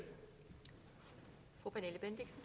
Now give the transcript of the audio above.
vi